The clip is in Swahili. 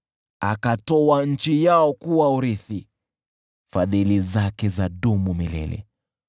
Akatoa nchi yao kuwa urithi, Fadhili zake zadumu milele .